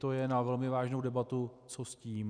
To je na velmi vážnou debatu, co s tím.